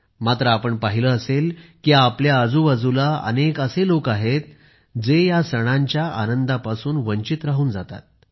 मात्र आपण पाहिले असेल की आपल्या आजूबाजूला अनेक असे लोक आहेत जे या सणांच्या आनंदापासून वंचित राहून जातात